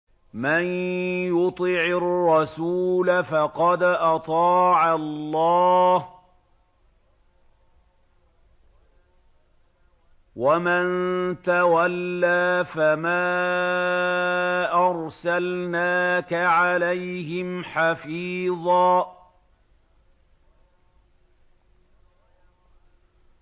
مَّن يُطِعِ الرَّسُولَ فَقَدْ أَطَاعَ اللَّهَ ۖ وَمَن تَوَلَّىٰ فَمَا أَرْسَلْنَاكَ عَلَيْهِمْ حَفِيظًا